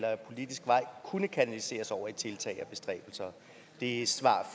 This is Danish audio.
ad politisk vej kunne kanaliseres over i tiltag og bestræbelser det er svaret